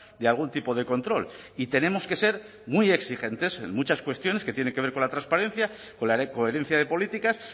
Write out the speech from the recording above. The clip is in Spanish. de algún tipo de control y tenemos que ser muy exigentes en muchas cuestiones que tienen que ver con la transparencia con la coherencia de políticas